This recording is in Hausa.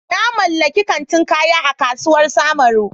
Na mallaki kantin kaya a kasuwar samaru.